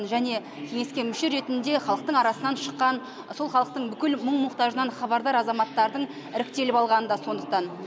және кеңеске мүше ретінде халықтың арасынан шыққан сол халықтың бүкіл мұң мұқтажынан хабардар азаматтардың іріктеліп алғаны да сондықтан